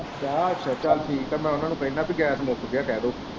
ਚਾਹ ਅੱਛਾ ਚੱਲ ਠੀਕ ਹੈ ਮੈਂ ਉਹਨਾਂ ਨੂੰ ਕਹਿਣਾ ਕੀ ਗੈਸ ਮੁੱਕ ਗਿਆ ਕਹਿਦੇ।